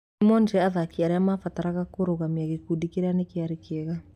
Nĩmonire athaki arĩa mabataraga kũrũgamia gĩkundi kĩrĩa nĩkĩarĩ kĩega. "